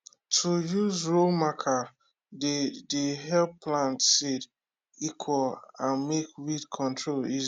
to use row marker dey dey help plant seed equal and make weed control easy